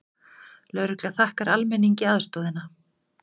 Lögregla þakkar almenningi aðstoðina